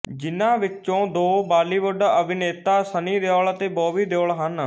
ਜਿਨ੍ਹਾਂ ਵਿੱਚੋਂ ਦੋ ਬਾਲੀਵੁੱਡ ਅਭਿਨੇਤਾ ਸੰਨੀ ਦਿਓਲ ਅਤੇ ਬੌਬੀ ਦਿਓਲ ਹਨ